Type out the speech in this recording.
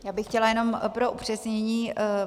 Já bych chtěla jenom pro upřesnění.